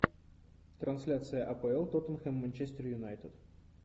трансляция апл тоттенхэм манчестер юнайтед